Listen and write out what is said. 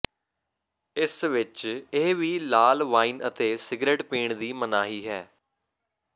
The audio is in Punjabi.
ਇਸ ਵਿਚ ਇਹ ਵੀ ਲਾਲ ਵਾਈਨ ਅਤੇ ਸਿਗਰਟ ਪੀਣ ਦੀ ਮਨਾਹੀ ਹੈ